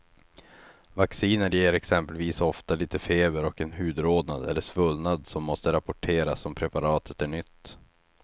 Vacciner ger exempelvis ofta lite feber och en hudrodnad eller svullnad som måste rapporteras om preparatet är nytt.